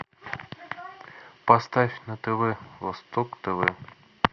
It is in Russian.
поставь на тв восток тв